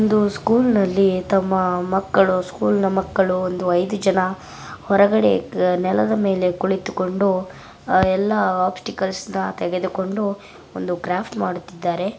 ಒಂದು ಸ್ಕೂಲ್ ನಲ್ಲಿತಮ್ಮ ಮಕ್ಕಳು ಸ್ಕೂಲ್ನ ಮಕ್ಕಳು ಒಂದು ಐದು ಜನ ಹೊರಗಡೆ ನೆಲದ ಮೇಲೆ ಕುಳಿತುಕೊಂಡು ಎಲ್ಲಾ ಆಪ್ಟಿಕಲ್ ಗಳನ್ನ ತೆಗೆದುಕೊಂಡು ಒಂದು ಕ್ರಾಫ್ಟ್ ಅನ್ನು ಮಾಡುತ್ತಿದ್ದಾರೆ.